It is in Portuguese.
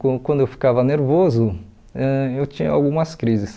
Quan quando eu ficava nervoso, ãh eu tinha algumas crises.